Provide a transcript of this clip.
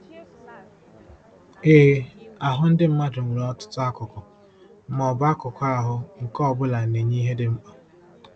Ee, ahụ ndị mmadụ nwere ọtụtụ akụkụ, ma ọ bụ akụkụ ahụ, nke ọ bụla na-enye ihe dị mkpa.